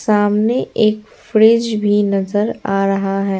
सामने एक फ्रिज भी नजर आ रहा है।